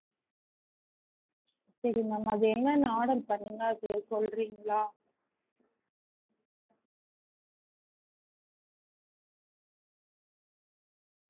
சரி ma'am அது என்னென்ன order பண்ணிங்க அது சொல்றீங்களா?